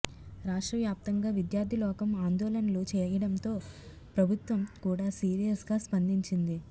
రాష్ట్ర వ్యాప్తంగా విద్యార్థిలోకం ఆందోళనలు చేయడంతో ప్రభుత్వం కూడా సీరియస్గా స్పందించింది